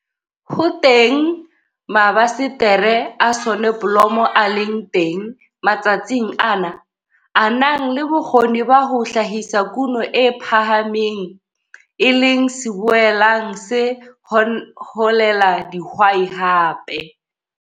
Ho teng mabasetere a soneblomo a leng teng matsatsing ana, a nang le bokgoni ba ho hlahisa kuno e phahameng, e leng se boelang se hohela dihwai hape.